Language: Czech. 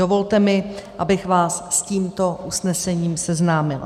Dovolte mi, abych vás s tímto usnesením seznámila.